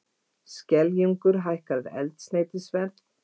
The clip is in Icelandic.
Skeljungur hækkar eldsneytisverð